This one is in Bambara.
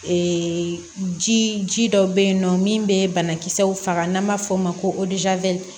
Ee ji dɔ be yen nɔ min be banakisɛw faga n'an b'a f'o ma ko